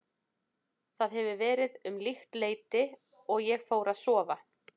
Það hefur verið um líkt leyti og ég fór að sofa.